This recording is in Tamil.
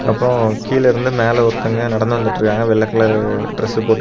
அப்ரொ கீழெலெருந்து மேல ஒருத்தங்க நடந்து வந்துடிருக்காங்க வெள்ளை கலரு டிரஸ் போட்டு.